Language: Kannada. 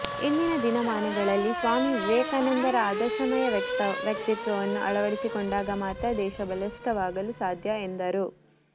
ಇಂದಿನ ದಿನಮಾನಗಳಲ್ಲಿ ಸ್ವಾಮಿವಿವೇಕಾನಂದರ ಆದರ್ಶಮ ಯ ವ್ಯಕ್ತಿತ್ವವನ್ನು ಅಳವಡಿಸಿಕೊಂಡಾಗ ಮಾತ್ರ ದೇಶ ಬಲಿಷ್ಠವಾಗಲು ಸಾಧ್ಯ ಎಂದರು